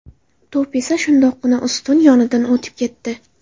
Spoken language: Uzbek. To‘p esa shundoqqina ustun yonidan o‘tib ketdi.